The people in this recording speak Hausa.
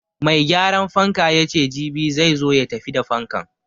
Mai gyaran fanka yace jibi zai zo ya tafi da fankan.